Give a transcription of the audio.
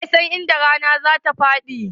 Wa ya san inda rana zatafaɗi?